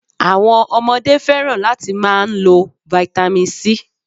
Àwọn Ọmọdé fẹ́ràn láti máa n lo vitamin C